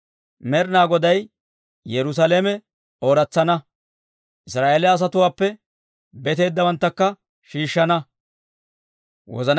Med'inaa Goday Yerusaalame ooratsana; Israa'eeliyaa asatuwaappe beteeddawanttakka shiishshana.